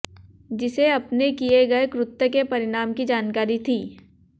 जिसे अपने किए गए कृत्य के परिणाम की जानकारी थी